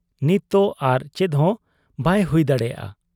ᱱᱤᱛᱫᱚ ᱟᱨ ᱪᱮᱫᱦᱚᱸ ᱵᱟᱭ ᱦᱩᱭ ᱫᱟᱲᱮᱭᱟᱜ ᱟ ᱾